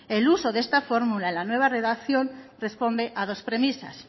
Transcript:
el uso de esta fórmula en la nueva redacción responde a dos premisas